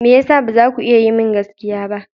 Me ya sa ba za ku iya yi min gaskiya ba?